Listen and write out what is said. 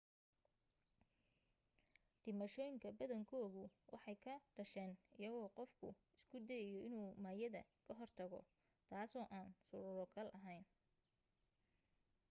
dhimashooyinka badankoodu waxay ka dhasheen iyadoo qofku isku dayayo inuu maayadda ka hortago taasoo aan suuro gal ahayn